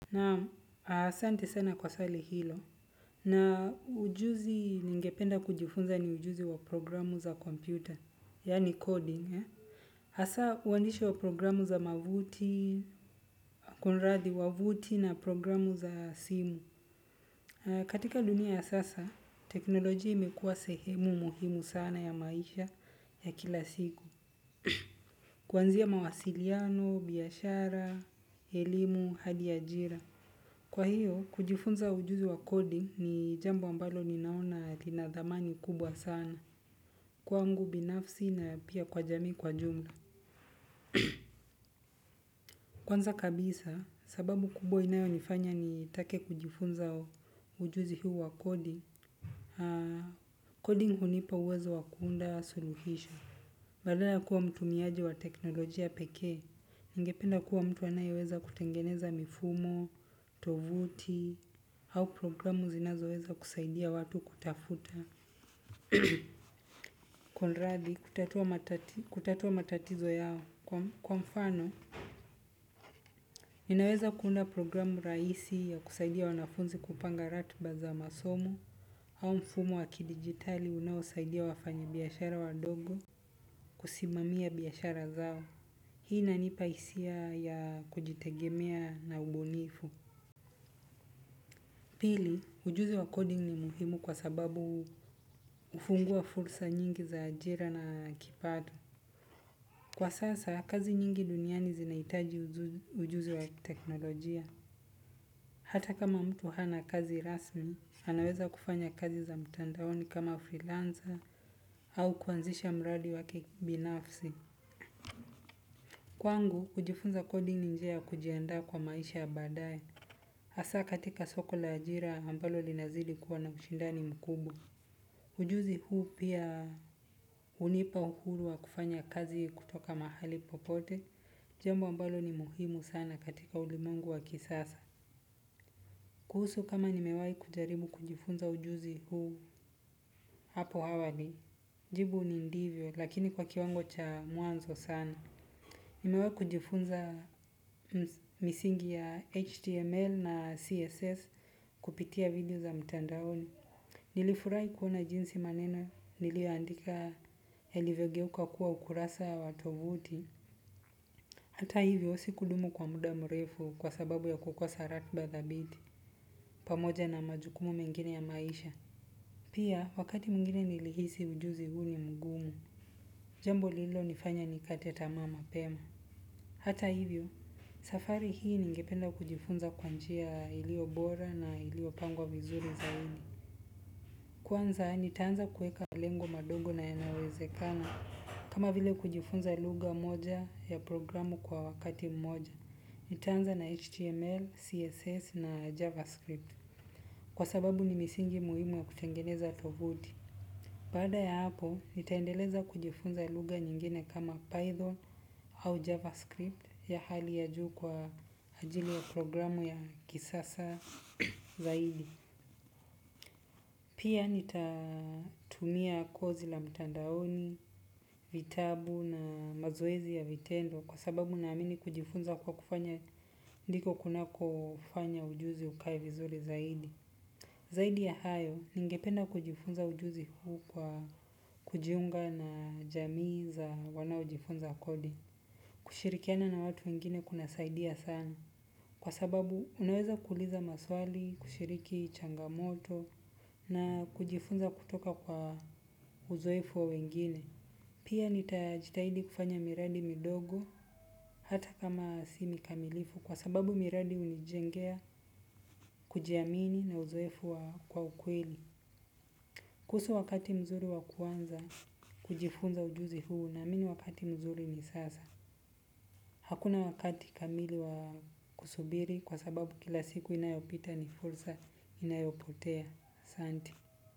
Naam asante sana kwa swali hilo. Na ujuzi ningependa kujifunza ni ujuzi wa programu za kompyuta, yani coding, hasa, uandishi wa programu za mavuti, kunradhi, wa vuti na programu za simu. Katika dunia ya sasa, teknolojia imekuwa sehemu muhimu sana ya maisha ya kila siku. Kuanzia mawasiliano, biashara, elimu, hadi ajira. Kwa hiyo, kujifunza ujuzi wa coding ni jambo ambalo ninaona lina dhamani kubwa sana. Kwangu binafsi na pia kwa jamii kwa jumla. Kwanza kabisa, sababu kubwa inayo nifanya nitake kujifunza ujuzi huu wa coding, coding hunipa uwezo wa kuunda suluhisho. Badala ya kuwa mtu miaji wa teknolojia peke, ningependa kuwa mtu anayeweza kutengeneza mifumo, tovuti, au programu zinazoweza kusaidia watu kutafuta. Kunradhi, kutatua matatizo yao. Kwa mfano, ninaweza kuunda programu rahisi ya kusaidia wanafunzi kupanga ratiba za masomo, au mfumo wa kidigitali unaosaidia wafanya biashara wadogo, kusimamia biashara zao. Hii ina nipa hisia ya kujitegemea na ubunifu. Pili, ujuzi wa coding ni muhimu kwa sababu hufungua fursa nyingi za ajira na kipato. Kwa sasa, kazi nyingi duniani zinaitaji ujuzi wa teknolojia. Hata kama mtu hana kazi rasmi, anaweza kufanya kazi za mtandaoni kama freelancer au kuanzisha mradi wake binafsi. Kwangu kujifunza coding ni njia ya kujiandaa kwa maisha ya baadaye hasa katika soko la ajira ambalo linazidi kuwa na ushindani mkubwa. Ujuzi huu pia hunipa uhuru wa kufanya kazi kutoka mahali popote. Jambo ambalo ni muhimu sana katika ulimwengu wa kisasa. Kuhusu kama nimewahi kujaribu kujifunza ujuzi huu hapo awali. Jibu ni ndiyo lakini kwa kiwango cha mwanzo sana. Nimewai kujifunza misingi ya HTML na CSS kupitia video za mtandaoni. Nilifurahi kuona jinsi maneno nilio andika yalivyogeuka kuwa ukurasa wa tovuti. Hata hivyo si kudumu kwa muda mrefu kwa sababu ya kukosa ratiba dhabiti pamoja na majukumu mengine ya maisha. Pia wakati mwingine nilihisi ujuzi huu ni mgumu. Jambo lililo nifanya nikate tamaa mapema. Hata hivyo, safari hii ningependa kujifunza kwanjia iliyo bora na iliyo pangwa vizuri zaidi. Kwanza, nitaanza kuweka lengo madogo na yanayowezekana kama vile kujifunza lugha moja ya programu kwa wakati mmoja. Nitaanza na HTML, CSS na JavaScript kwa sababu ni misingi muhimu ya kutengeneza tovuti. Baada ya hapo, nitaendeleza kujifunza lugha nyingine kama Python au JavaScript ya hali ya juu kwa ajili ya programu ya kisasa zaidi. Pia nitatumia kozi la mtandaoni, vitabu na mazoezi ya vitendo kwa sababu na amini kujifunza kwa kufanya ndiko kuna kofanya ujuzi ukae vizuri zaidi. Zaidi ya hayo, ningependa kujifunza ujuzi huu kwa kujiunga na jamii za wanaojifunza coding. Kushirikiana na watu wengine kuna saidia sana. Kwa sababu unaweza kuuliza maswali, kushiriki changamoto na kujifunza kutoka kwa uzoefu wa wengine. Pia nitajitahidi kufanya miradi midogo hata kama si mikamilifu kwa sababu miradi hunijengea kujiamini na uzoefu wa ukweli. Kuhusu wakati mzuri wa kuanza kujifunza ujuzi huu naamini wakati mzuri ni sasa hakuna wakati kamili wa kusubiri kwa sababu kila siku inayopita ni fursa inayopotea.